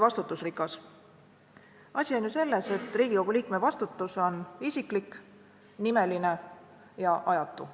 Asi on ju selles, et iga liikme vastutus on isiklik, nimeline ja ajatu.